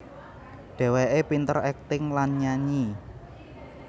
Dheweke pinter akting lan nyanyi